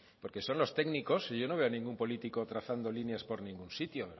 porque son los técnicos yo no veo a ningún político trazando líneas por ningún sitio